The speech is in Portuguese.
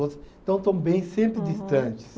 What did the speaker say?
Então, estão bem sempre distantes.